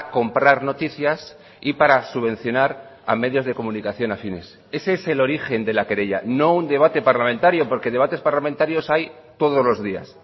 comprar noticias y para subvencionar a medios de comunicación afines ese es el origen de la querella no un debate parlamentario porque debates parlamentarios hay todos los días